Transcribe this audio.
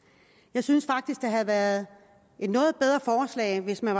jeg synes faktisk at det havde været et noget bedre forslag hvis man